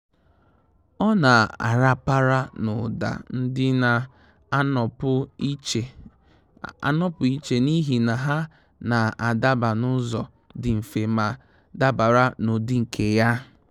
Ọ́ nà-àràpàrà n’ụ́dà ndị nà-ànọ́pụ́ ìchè n’íhì nà há nà-ádaba n’ụ́zọ̀ dị mfe ma dabara n’ụ́dị́ nke ya.